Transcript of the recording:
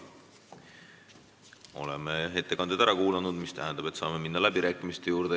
Oleme ettekanded ära kuulanud, mis tähendab, et saame minna läbirääkimiste juurde.